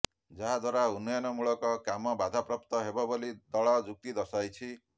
ଯାହାଦ୍ୱାରା ଉନ୍ନୟନମୂଳକ କାମ ବାଧାପ୍ରାପ୍ତ ହେବ ବୋଲି ଦଳ ଯୁକ୍ତି ଦର୍ଶାଇଛି